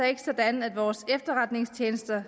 ikke sådan at vores efterretningstjenester